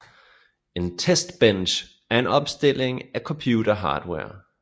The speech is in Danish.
En testbench er en opstilling af computerhardware